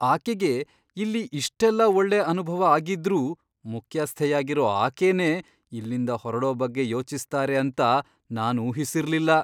ಆಕೆಗೆ ಇಲ್ಲಿ ಇಷ್ಟೆಲ್ಲ ಒಳ್ಳೆ ಅನುಭವ ಆಗಿದ್ರೂ ಮುಖ್ಯಸ್ಥೆಯಾಗಿರೋ ಆಕೆನೇ ಇಲ್ಲಿಂದ ಹೊರಡೋ ಬಗ್ಗೆ ಯೋಚಿಸ್ತಾರೆ ಅಂತ ನಾನ್ ಊಹಿಸಿರ್ಲಿಲ್ಲ.